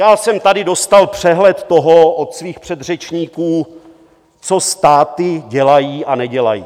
Já jsem tady dostal přehled toho od svých předřečníků, co státy dělají a nedělají.